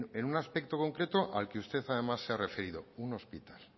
en un aspecto concreto al que usted además se ha referido un hospital